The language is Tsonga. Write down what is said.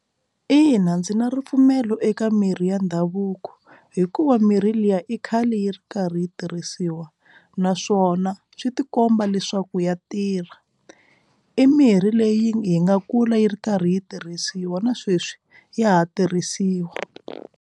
Ina, ndzi na ripfumelo eka mirhi ya ndhavuko hikuva mirhi liya i khale yi ri karhi yi tirhisiwa naswona swi ti komba leswaku ya tirha i mirhi leyi yi nga kula yi ri karhi yi tirhisiwa na sweswi ya ha tirhisiwa.